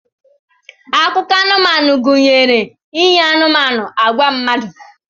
Akụkọ anụmanụ gụnyere inye anụmanụ agwa mmadụ.